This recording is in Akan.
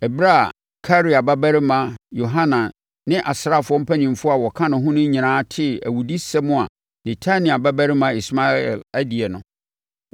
Ɛberɛ a Karea babarima Yohanan ne asraafoɔ mpanimfoɔ a wɔka ne ho no nyinaa tee awudisɛm a Netania babarima Ismael adie no,